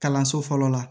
Kalanso fɔlɔ la